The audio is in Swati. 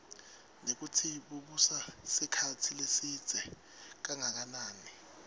nekutsi bubusa sikhatsi lesidze kangakanani